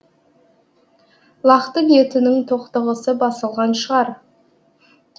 лақтың етінің тоқтығысы басылған шығар